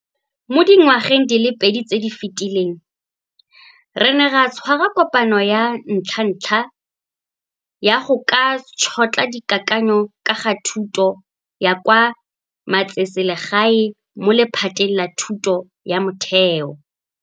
Mo dingwageng di le pedi tse di fetileng, re ne ra tshwara kopano ya ntlhantlha ya go ka Tšhotlha Dikakanyo ka ga Thuto ya kwa Metseselegae mo lephateng la thuto ya motheo.